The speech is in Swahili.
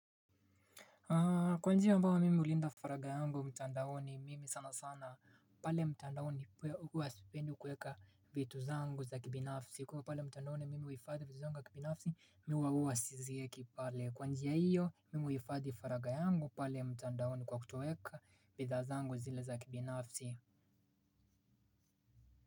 Kwa njia ambayo mimi hulinda faraga yangu mtandaoni mimi sana sana pale mtandaoni huwasipendi kuweka vitu zangu za kibinafsi kwa hivo pale mtandaoni mimi uhifadhi vitu zangu za kibinafsi mi huwa huwasizieki pale kwa njia hiyo mimi uhifadhi faraga yangu pale mtandaoni kwa kutoeka bidhaa zangu zile za kibinafsi.